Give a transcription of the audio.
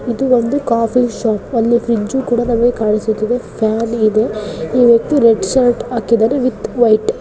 ಇದು ಒಂದು coffee shop ಅಲ್ಲಿ ಫ್ರಿಡ್ಜ್ ಕೂಡ ಫ್ಯಾನ್ ಗೆ ಇವತ್ತು ರೆಡ್ ಶರ್ಟ್ ಹಾಕಿದ್ದಾನೆ ವಿತ್ ವೈಟ್ .